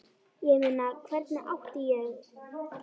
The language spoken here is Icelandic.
Ég meina, hvernig átti ég.?